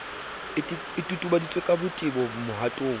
e totobaditswe ka botebo mohatong